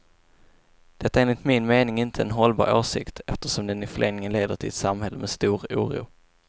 Det är enligt min mening inte en hållbar åsikt, eftersom den i förlängningen leder till ett samhälle med stor oro.